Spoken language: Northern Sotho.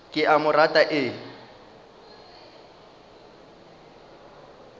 ke a mo rata e